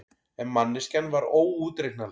En manneskjan var óútreiknanleg.